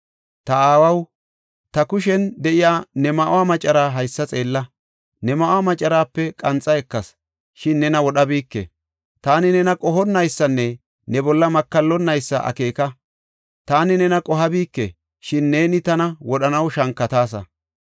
Ta aawaw, ta kushen de7iya ne ma7uwa maccara haysa xeella. Ne ma7uwa macaraape qanxa ekas, shin nena wodhabike. Taani nena qohonnaysanne ne bolla makallonnaysa akeeka; taani nena qohabike, shin neeni tana wodhanaw shankataasa.